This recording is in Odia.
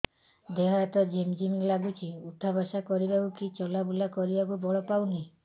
ଦେହେ ହାତ ଝିମ୍ ଝିମ୍ ଲାଗୁଚି ଉଠା ବସା କରିବାକୁ କି ଚଲା ବୁଲା କରିବାକୁ ବଳ ପାଉନି